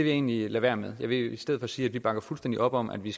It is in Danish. egentlig lade være med jeg vil i stedet sige at vi bakker fuldstændig op om at vi